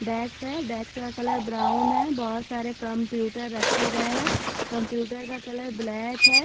डेक्स है डेक्स का कलर ब्राउन है बोहोत सारे कंप्यूटर रखे गये है कंप्यूटर का कलर ब्लैक है।